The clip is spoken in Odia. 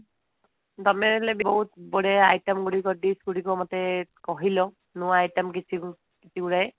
ତମେ ହେଲେ ବହୁତ item ଗୁଡିକ dish ଗୁଡିକ ମତେ କହିଲ ନୂଆ item କିଛି କିଛି ଗୁଡାଏ